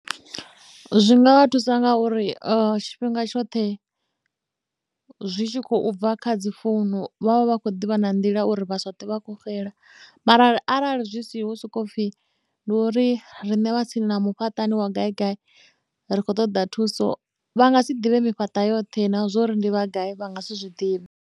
Zwi ngavha thusa ngauri tshifhinga tshoṱhe zwi tshi khou bva kha dzi founu vhavha vha khou ḓivha na nḓila uri vha sa ṱwe vha kho xela mara arali zwi siho hu sokou pfhi ndi uri riṋe vha tsini na mufhaṱani wa gai gai ri khou ṱoḓa thuso vha nga si ḓivhe mifhaṱa yoṱhe na zwori ndi vha gai vha nga si zwi zwiḓivhe.